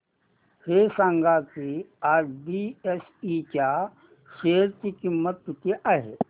हे सांगा की आज बीएसई च्या शेअर ची किंमत किती आहे